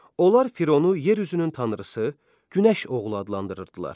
Onlar Fironu yer üzünün tanrısı, günəş oğlu adlandırırdılar.